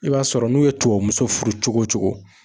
I b'a sɔrɔ n'u ye tubabu muso furu cogo cogo.